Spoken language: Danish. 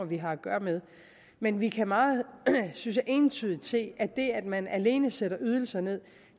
vi har at gøre med men vi kan meget synes jeg entydigt se at det at man alene sætter ydelserne